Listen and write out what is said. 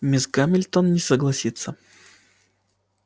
мисс гамильтон не согласится